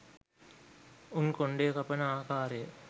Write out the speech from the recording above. උන් කොණ්ඩය කපන ආකාරය